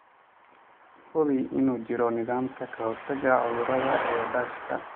Hubi inuu jiro nidaam ka-hortagga cudurrada ee daashka.